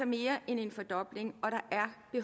mere end en fordobling